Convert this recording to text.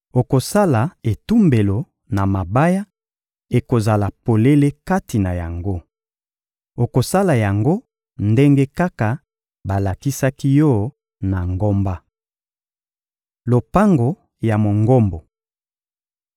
Okosala etumbelo na mabaya; ekozala polele kati na yango. Okosala yango ndenge kaka balakisaki yo na ngomba. Lopango ya Mongombo